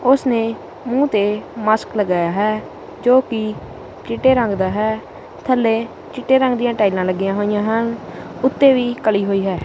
ਓਸਨੇ ਮੂੰਹ ਤੇ ਮਾਸਕ ਲਗਾਇਆ ਹੈ ਜੋਕਿ ਚਿੱਟੇ ਰੰਗ ਦਾ ਹੈ ਥੱਲੇ ਚਿੱਟੇ ਰੰਗ ਦੀਆਂ ਟਾਈਲਾਂ ਲੱਗੀਆਂ ਹੋਈਆਂ ਹਨ ਉੱਤੇ ਵੀ ਕਲੀ ਹੋਈ ਹੈ।